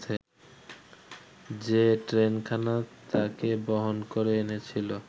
যে ট্রেনখানা তাকে বহন করে এনেছিল